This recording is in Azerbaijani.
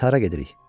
Biz hara gedirik?